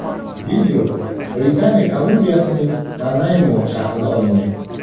Video Britaniya Kolumbiyasining Nanaymo shahrida olingan.